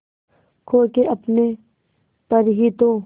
खो के अपने पर ही तो